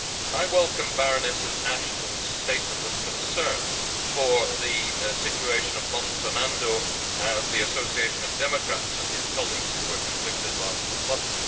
I welcome Baroness Ashton's statement of concern for the situation of Mom Sonando of the Association of Democrats and his colleagues, who were convicted last month.